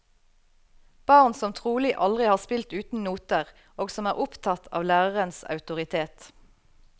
Barn som trolig aldri har spilt uten noter, og som er opptatt av lærerens autoritet.